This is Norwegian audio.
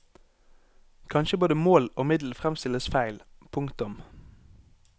Kanskje både mål og middel fremstilles feil. punktum